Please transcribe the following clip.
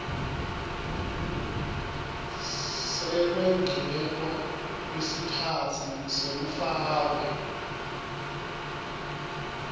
sekwengetwa kwesikhatsi sekufakwa